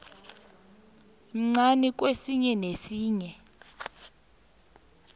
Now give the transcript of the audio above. mncani kwesinye nesinye